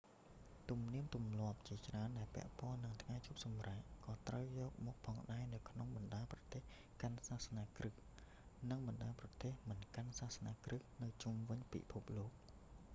ទំនៀមទម្លាប់ជាច្រើនដែលពាក់ព័ន្ធនឹងថ្ងៃឈប់សម្រាក ក៏ត្រូវទទួលយកផងដែរនៅក្នុងបណ្តាប្រទេសកាន់សាសនាគ្រីស្ទ និងបណ្តាប្រទេសមិនកាន់សាសនាគ្រីស្ទនៅជុំវិញពិភពលោក